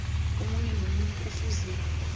omunye nomunye kufuze